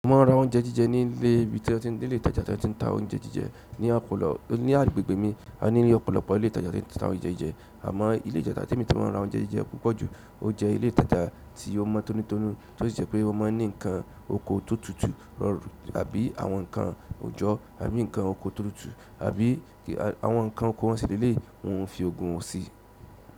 Mo máa ń ra ounjé jíjẹ ní ilé ibi tí ó ti ń ní ilé ìtajà tí a ti ń ta ounjé jíjẹ ní ọ̀pọ̀lọpọ̀. Ní agbègbè mi, a ní ọ̀pọ̀lọpọ̀ ilé ìtajà tí wọ́n ń ta ounjé jíjẹ, àmọ́ ilé ìtajà tí mo máa ń ra ounjé jíjẹ púpọ̀ jù, ó jẹ́ ilé ìtajà tí wọn mọ̀ tọ́nítọ́nú, tó sì jẹ́ pé wọ́n máa ń ní nǹkan oko tó tutù rọrùn, àbí àwọn nǹkan òjọ́, àbí nǹkan oko tó tutù àbí àwọn nǹkan oko wọn sì leléyìí, wọn ò kí ń fi nǹkan oko wọn ṣeré.